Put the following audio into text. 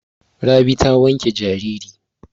Rabi ta wanke jariri.